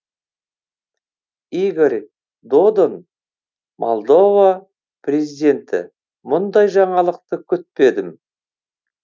игорь додон молдова президенті мұндай жаңалықты күтпедім